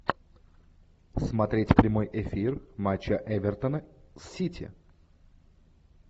смотреть прямой эфир матча эвертона с сити